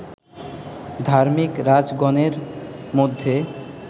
ধার্মিক রাজগণের মধ্যে